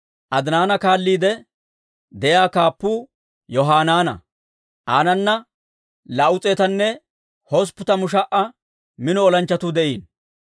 Adinaaha kaalliide de'iyaa kaappuu Yohanaana; aanana 280,000 mino olanchchatuu de'iino.